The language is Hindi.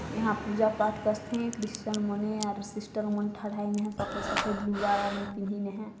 यहाँ पूजा पाठ क्रिसचन सिस्टर मंथन है यहा सफेद-सफेद है।